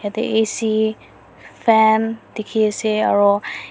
jatte A_C fan dekhi ase aru.